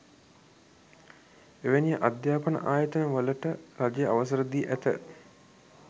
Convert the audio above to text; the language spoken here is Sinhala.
එවැනි අධ්‍යාපන ආයතන වලට රජය අවසර දී ඇත